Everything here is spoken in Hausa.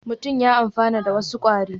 Mutum ya amfana da wasu kwari